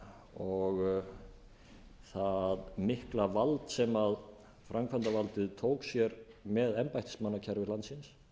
og það mikla vald sem framkvæmdarvaldið tók sér með embættismannakerfi landsins